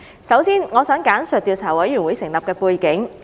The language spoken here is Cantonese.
首先，我想簡述調查委員會成立的背景。